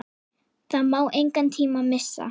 Það má engan tíma missa!